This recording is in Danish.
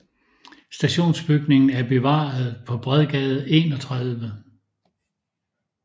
Stationsbygningen er bevaret på Bredgade 31